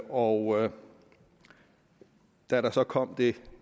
og da der så kom et